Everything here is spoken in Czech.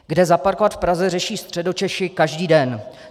Kde zaparkovat v Praze, řeší Středočeši každý den.